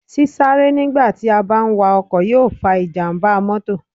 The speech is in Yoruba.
Sí sáré nígbà tí a bá ń wa ọkọ̀ yó fa ìjàmbá mótò